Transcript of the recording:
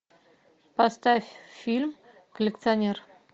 поставь фильм коллекционер